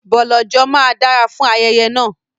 Bọ̀lọ̀jọ̀ máa dára fún ayẹyẹ náà.